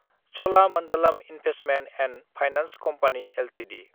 Cholamandalam investment & finance company Ltd